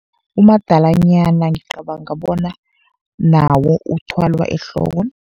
Umadalanyana ngicabanga bona nawo uthwalwa ehloko.